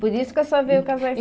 Por isso que a senhora veio casar em